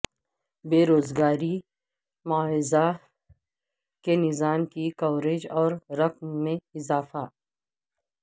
بیروزگاری معاوضہ کے نظام کی کوریج اور رقم میں اضافہ